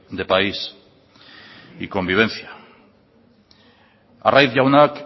de país y convivencia arraiz jaunak